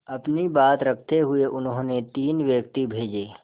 अपनी बात रखते हुए उन्होंने तीन व्यक्ति भेजे